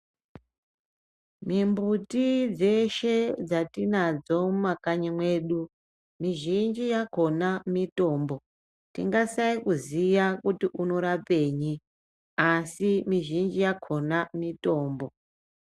Mimbuti dzeshe dzatinadzo mumakanyi mwedu, mizhinji yakona mitombo tingasayakuziya kuti unorapenyi asi mizhinji yakona mitombo.